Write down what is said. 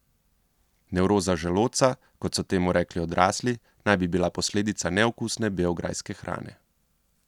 Nevroza želodca, kot so temu rekli odrasli, naj bi bila posledica neokusne beograjske hrane.